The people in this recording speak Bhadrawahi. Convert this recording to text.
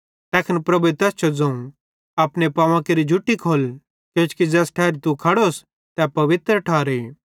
तैखन प्रभुए तैस जो ज़ोवं अपनो बूट खोल्ल किजोकि ज़ैस ठैरी तू खड़ोस तै पवित्र ठारे